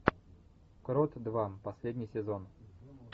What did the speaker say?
крот два последний сезон